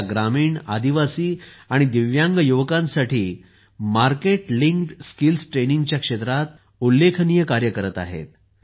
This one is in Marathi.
त्या ग्रामीण आदिवासी आणि दिव्यांगयुवकांसाठी मार्केट लिंक्ड स्किल्स ट्रेनिंगच्या क्षेत्रात उल्लेखनीय कार्य करत आहेत